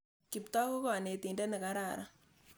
Kiptoo ko kanetindet ne kararan.